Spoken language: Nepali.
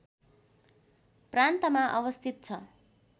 प्रान्तमा अवस्थित छ